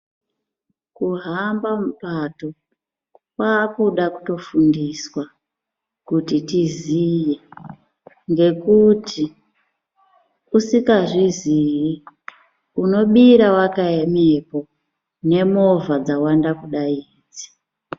Kuhamba mupato kwakuda kutofundiswa kuti tiziye ngekuti usingazvizi unobira wakaemepo nemovha dzawanda kudai idzi .